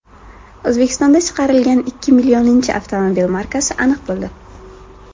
O‘zbekistonda chiqarilgan ikki millioninchi avtomobil markasi aniq bo‘ldi.